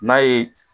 N'a ye